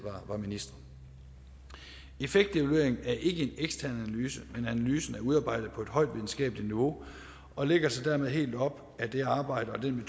var ministre effektevalueringen er ikke en ekstern analyse men analysen er udarbejdet på et højt videnskabeligt niveau og lægger sig dermed helt op ad det arbejde og den